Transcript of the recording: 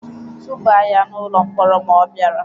Tụba ya n'ụlọ mkpọrọ ma ọ bịara!